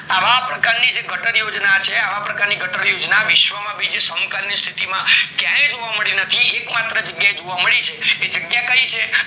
અવ પ્રકર ની ગટર યોજના છે અવ પ્રકારની ગટર યોજના છે વિશ્વમાં બીજા સ્થિતિ માં ક્યાય જ નાય્જી એક માત્ર જગ્યાએ જોવા મળી છે એ જગ્યા કય છે